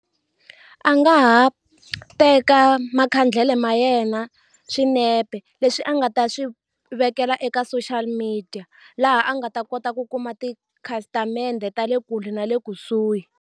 A nga ha teka makhandlele ma yena swinepe leswi a nga ta swi vekela eka social media laha a nga ta kota ku kuma tikhasitamende ta le kule na le kusuhi.